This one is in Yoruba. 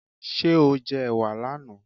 Ṣé o jẹ ẹ̀wà là na?